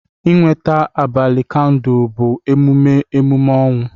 Ịnweta abalị kandụl bụ emume emume ọnwụ